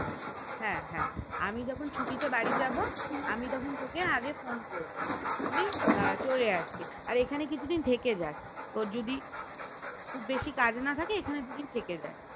হ্যাঁ হ্যাঁ আমি যখন ছুটিতে বাড়ি যাবো আমি তখন তোকে আগে তখন ফোন করবো তুই চলে আসবি আর এখানে কিছুদিন থেকে যাস তোর যদি বেশি কাজ না থাকে এখানে দু দিন থেকে যাস